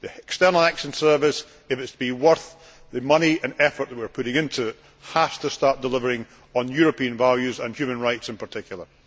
The External Action Service, if it is to be worth the money and effort we are putting into it, has to start delivering on European values and human rights in particular.